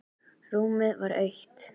Rúmið var autt.